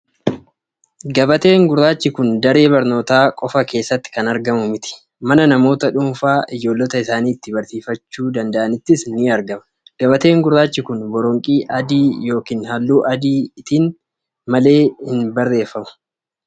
Gabateen gurraachi kun daree barnootaa qofaa keessatti kan argamu miti. Mana namoota dhuunfaa ijoollota isaanii ittiin barsiifachuu danda'anittis ni argama. Gabateen gurraachi kun boronqii adiin yookiin halluu adiitti dhiyaatan malee hin simatu.